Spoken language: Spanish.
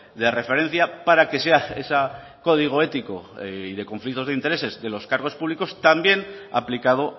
de referencia para que sea ese código ético y de conflictos de intereses de los cargos públicos también aplicado